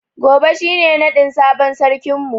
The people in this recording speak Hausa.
Gobe shi ne naɗin sabon sarkin mu.